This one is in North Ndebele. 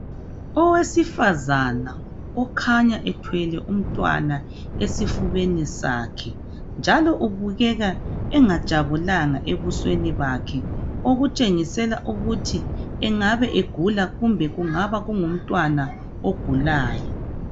Owesifazana okhanya ethwele umntwana esifubeni sakhe njalo ubukeka engajabulanga ebusweni bakhe, okutshengisela ukuthi engabe egula kumbe kungaba kungu mntwana ogulayo.